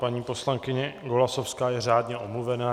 Paní poslankyně Golasowská je řádně omluvena.